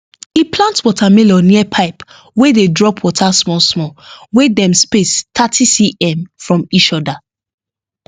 e plant watermelon near pipe wey dey drop water small small wey dem space 30cm from each other